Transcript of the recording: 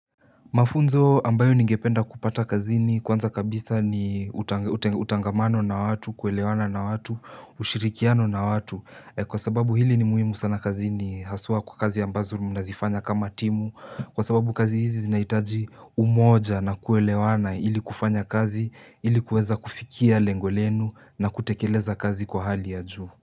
Mafunzo ambayo ningependa kupata kazini kwanza kabisa ni utangamano na watu, kuelewana na watu, ushirikiano na watu kwa sababu hili ni muhimu sana kazini haswa kwa kazi ambazo mnazifanya kama timu kwa sababu kazi hizi zinahitaji umoja na kuelewana ili kufanya kazi ili kuweza kufikia lengo lenu na kutekeleza kazi kwa hali ya juu.